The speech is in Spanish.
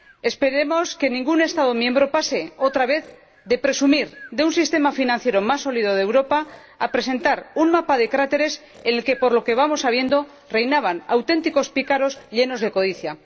Esperemos que ningún Estado miembro pase otra vez de presumir del sistema financiero más sólido de Europa a presentar un mapa de cráteres en el que, por lo que vamos sabiendo, reinaban auténticos pícaros llenos de codicia.